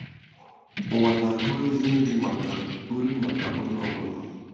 Ụwa ga-akọ ezi nri maka nri maka onye ọ bụla.